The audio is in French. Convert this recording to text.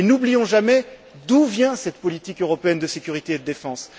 Et n'oublions jamais d'où vient cette politique européenne de sécurité et de défense.